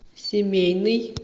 семейный